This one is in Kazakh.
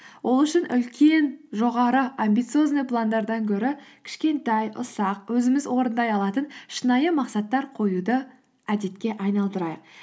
ол үшін үлкен жоғары амбициозный пландардан гөрі кішкентай ұсақ өзіміз орындай алатын шынайы мақсаттар қоюды әдетке айналдырайық